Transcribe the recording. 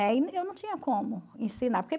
eu não tinha como ensinar.